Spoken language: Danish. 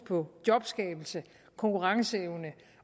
på jobskabelse konkurrenceevne